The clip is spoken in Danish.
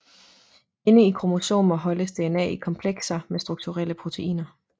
Inde i kromosomer holdes DNA i komplekser med strukturelle proteiner